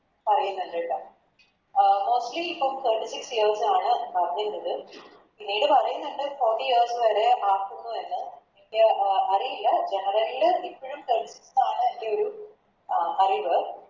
പറയുന്ന്ണ്ട് ട്ടാ അഹ് Mostly ഇപ്പൊ Thirty six years ആണ് പറയുന്നത് പിന്നീട് പറയുന്ന്ണ്ട് Fourty years വരെ ആക്കുന്നു എന്ന് എനിക്ക് ആ അഹ് അറിയില്ല General ല ഇപ്പഴും ആണ് എൻറെയൊരു ആ അഹ് അറിവ്